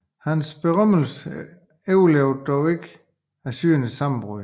Hans berømmelse overlevede dog ikke Assyriens sammenbrud